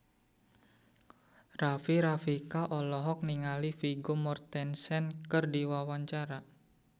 Rika Rafika olohok ningali Vigo Mortensen keur diwawancara